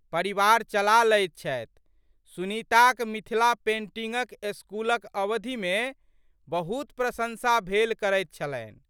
परिवार चला लैत छथि। सुनीताक मिथिला पेंटिंगक स्कूलक अवधिमे बहुत प्रशंसा भेल करैत छलनि।